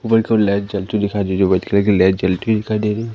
ऊपर की ओर लाइट जलती हुई दिखाई दे रही जो वाइट कलर की लाइट जलती हुई दिखाई दे री--